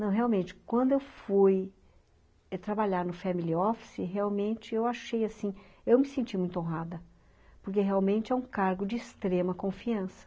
Não, realmente, quando eu fui trabalhar no family office, realmente eu achei assim, eu me senti muito honrada, porque realmente é um cargo de extrema confiança.